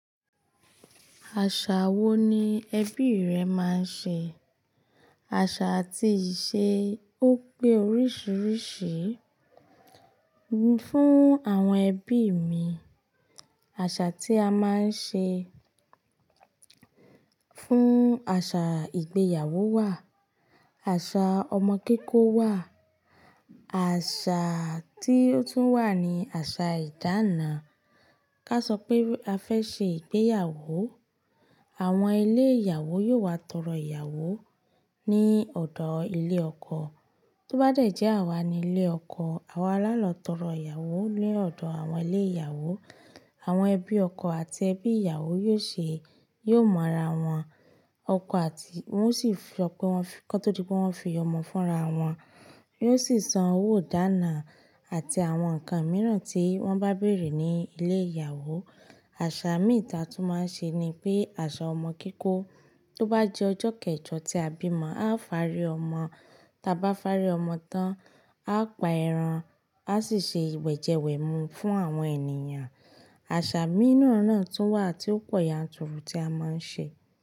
Àṣà wo ni ẹbí rẹ máa ń ṣe? Àṣà àti ìṣe ó pé oríṣiríṣi. Fún àwọn ẹbí mi, àṣà tí a máa ń ṣe fún, àṣà ìgbéyàwó wà, àṣà ọmọ kikò wà, àṣà tí ó tún wà ni àṣà ìdána. Ká sọ pé a fẹ́ ṣe ìgbéyàwó, àwọn ilé ìyàwó yóò wá tọrọ ìyàwó ní ọ̀dọ̀ ilé ọkọ. Tó bá dẹ̀ jẹ́ àwa ni ilé ọkọ, àwa lalálọ̀ tọrọ ìyàwó ní ọ̀dọ̀ àwọn ilé ìyàwó. Àwọn ẹbí ọkọ àti ẹbí ìyàwó yiò ṣe, yiò mọ́ra wọn ọkọ àti wọ́n sì fọ pé wọ́n fi, kó tó di pé wọ́n fi ọmọ fúnra wọn. Yiò sì san owó ìdána àti àwọn ǹkan mìíràn tí wọ́n bá bèerè ní ilé ìyàwó. Àṣà mìí ta tun máa ń ṣe ni pé àṣà ọmọ kikò. Tó bá di ọjọ́ kẹjọ tí a bímọ, a ó fàárí ọmọ. Taa bá fàárí ọmọ tán, a pa ẹran, a sì ṣe wẹ̀jẹwẹ̀mu fún àwọn ènìyàn. Àṣà mìíràn náà tó wà tí ó pọ̀ yanturu tí a máa ń ṣe.